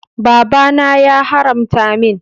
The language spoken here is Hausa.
Baba na ya haramta min.